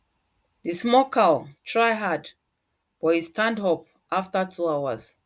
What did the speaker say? the small cow try hard but e stand up after two hours